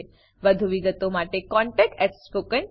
વધુ વિગતો માટે કૃપા કરી contactspoken tutorialorg પર લખો